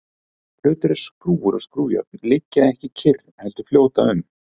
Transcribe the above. hlutir eins og skrúfur og skrúfjárn liggja ekki kyrr heldur fljóta um